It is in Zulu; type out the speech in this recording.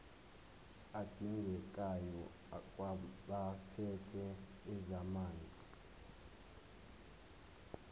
adingekayo kwabaphethe ezamanzi